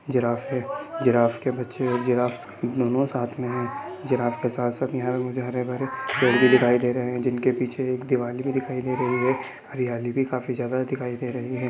Giraffe है giraffe के बच्चे और जिराफ दोनों साथ में है| जिराफ के साथ साथ यहॉं मुझे हरे भरे पेड़ भी दिखाई दे रहे है जिनके पीछे एक दीवाल दिखाई दे रही है| हरियाली भी काफी ज्यादा दिखाई दे रही है।